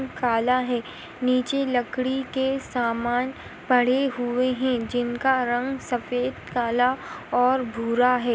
काला है नीचे लकड़ी के सामान पड़े हुए है जिनका रंग सफ़ेद काला और भूरा है।